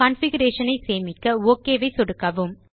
configuration ஐ சேமிக்க OK ஐ சொடுக்கவும்